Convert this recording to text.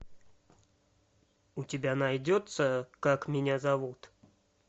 у тебя найдется как меня зовут